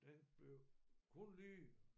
Den blev kun lige